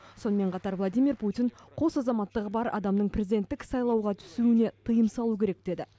сонымен қатар владимир путин қос азаматтығы бар адамның президенттік сайлауға түсуіне тыйым салу керек деді